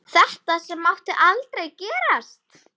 Þetta sem mátti aldrei gerast.